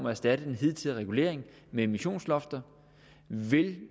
erstatte den hidtidige regulering med emissionslofter vil